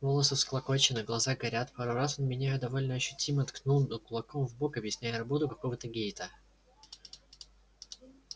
волосы всклокочены глаза горят пару раз он меня довольно ощутимо ткнул кулаком в бок объясняя работу какого-то гейта